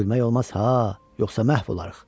Gülmək olmaz ha, yoxsa məhv olarıq.